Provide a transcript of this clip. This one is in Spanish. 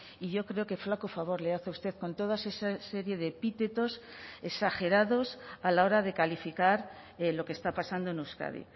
y yo creo que flaco favor le hace usted con todas esa serie de epítetos exagerados a la hora de calificar lo que está pasando en euskadi